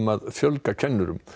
að fjölga kennurum